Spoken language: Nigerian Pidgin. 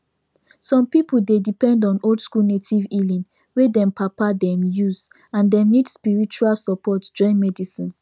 some people dey depend on oldschool native healing wey dem papa them use and dem need spiritual support join medicine